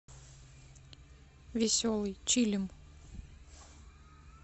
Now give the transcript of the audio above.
веселый чилим